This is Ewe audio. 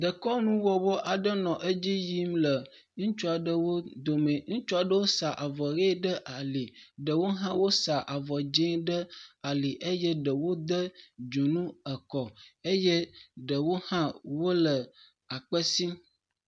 Ɖekɔnu wɔwɔ aɖe edzi yim le ŋutsuaɖewo dome. Ŋutsu aɖewo sa avɔ ʋi ɖe eƒe ali, ɖewo hã wo sa avɔ dzɛ ɖe ali eye ɖewo de dzonu ekɔ eye ɖewo hã wole akpe sim.